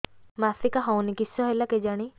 ମାସିକା ହଉନି କିଶ ହେଲା କେଜାଣି